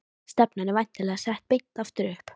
Stefnan er væntanlega sett beint aftur upp?